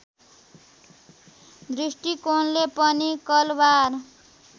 दृष्टिकोणले पनि कलवार